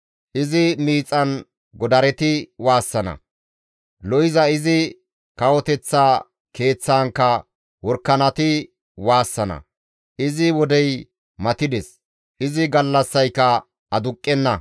Izi miixan godareti waassana; lo7iza izi kawoteththa keeththaankka worakanati waassana; izi wodey matides; izi gallassayka aduqqenna.